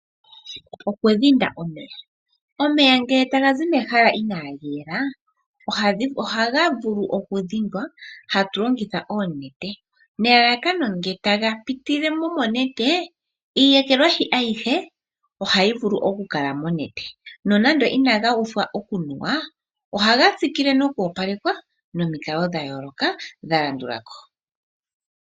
Okudhinda omeya. Omeya ngele taga zi mehala inaaga yela, ohaga vulu okudhindwa , hatulongitha oonete nelalakano ngele taga pitile mo monete, iiyekelwashi ayihe ohayi vulu okukala monete. Nonando inaga uthwa okunuwa, ohaga tsikile nokwoopalekwa momikalo dha yooloka, dha landulako.